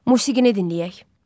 Musiqini dinləyək.